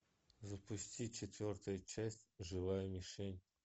запусти четвертая часть живая мишень